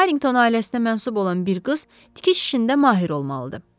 Harrington ailəsinə mənsub olan bir qız tikiş işində mahir olmalıdır.